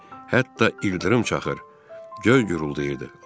Hətta ildırım çaxır, göy guruldayırdı.